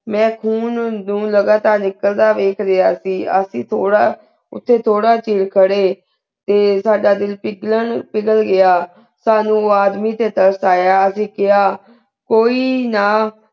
ਮੈਂ ਖੂਨ ਨੂ ਲਗਾਤਾਰ ਨਿਕਲਦਾ ਵਿਖ ਲਿਯਾ ਸੇ ਅਸੀਂ ਤੋਰਾ ਓਤੇ ਤੋਰਾ ਚਿਰ ਖੇਡ ਤੇ ਸਦਾ ਦਿਲ ਪਿਗਲਾਂ ਪਿਗਲ ਗਿਆ ਸਾਨੂ ਆਦਮੀ ਤੇ ਤਰਸ ਯਾ ਅਸੀਂ ਕ੍ਯਾ ਕੋਈ ਨਾ